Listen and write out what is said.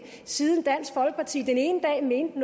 siden dansk folkeparti den ene dag mente